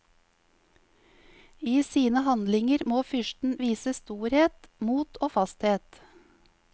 I sine handlinger må fyrsten vise storhet, mot og fasthet.